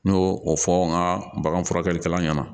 N y'o o fɔ n ka bagan furakɛlikɛla ɲɛna